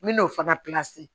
N bɛ n'o fana